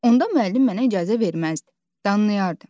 Onda müəllim mənə icazə verməzdi, danlayardı.